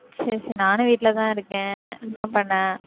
சரி, சரி நானும் வீட்டிலதான் இருக்கேன். என்ன பண்ண?